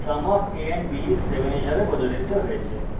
sum of a and b is 7 হিসাবে প্রদর্শিত হয়েছে